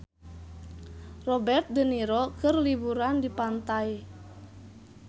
Robert de Niro keur liburan di pantai